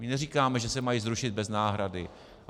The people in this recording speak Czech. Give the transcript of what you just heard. My neříkáme, že se mají zrušit bez náhrady.